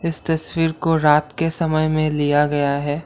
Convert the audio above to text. इस तस्वीर को रात के समय में लिया गया है।